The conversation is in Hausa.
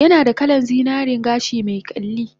Yanada kalan zinaren gashi me kyalli